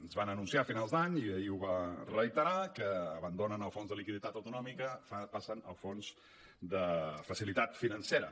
ens van anunciar a finals d’any i ahir ho va reiterar que abandonen el fons de liquiditat autonòmic passen al fons de facilitat financera